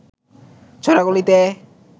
ছোঁড়া গুলিতে